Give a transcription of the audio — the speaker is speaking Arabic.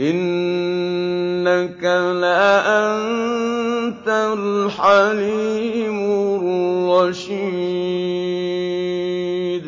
إِنَّكَ لَأَنتَ الْحَلِيمُ الرَّشِيدُ